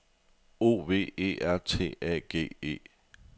O V E R T A G E